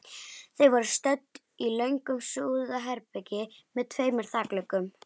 Þau voru stödd í löngu súðarherbergi með tveimur þakgluggum.